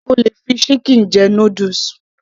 O lè fi chicken jẹ noodles